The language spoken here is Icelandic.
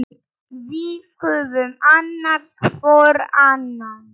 Við höfum annast hvor annan.